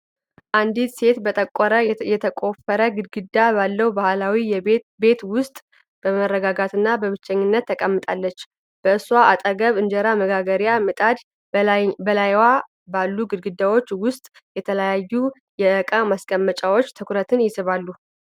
አንዲት ሴት በጠቆረ፣ የተቆፈረ ግድግዳ ባለው የባህላዊ ቤት ውስጥ በመረጋጋትና በብቸኝነት ተቀምጣለች። በእሷ አጠገብ እንጀራ መጋገሪያ ምጣድ፣ በላይዋ ባሉ ግድግዳዎች ውስጥ የተለያዩ የእቃ ማስቀመጫዎች ትኩረት ይስባሉ።